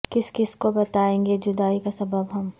کس کس کو بتائیں گے جدائی کا سبب ہم